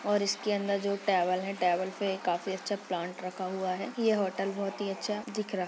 और इसके अंदर जो टेबल है टेबल पे काफी अच्छा प्लांट रखा हुआ है| यह होटल बहुत ही अच्छा दिख रहा--